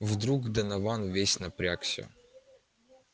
вдруг донован весь напрягся